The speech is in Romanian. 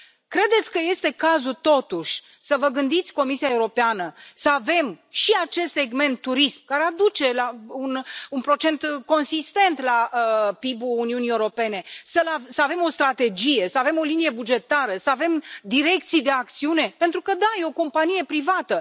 Credeți că este cazul, totuși, să vă gândiți, Comisia Europeană, să avem și acest segment turism care aduce un procentaj consistent la PIB ul Uniunii Europene, să avem o strategie, să avem o linie bugetară, să avem direcții de acțiune, pentru că da, este o companie privată.